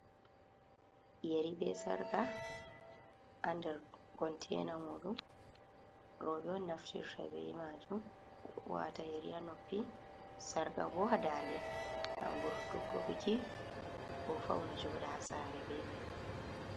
Yari be sarga ha ndar kontena muɗum, roɓe ɗo naftirta be majum wata yeri ha noppi sarga bo ha dande, ha vurtugo buki ko fauna joɗa ha saare be mai.